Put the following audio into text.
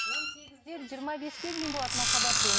он сегізден жиырма беске дейін болады махаббат деген